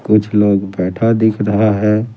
कुछ लोग बैठा दिख रहा है।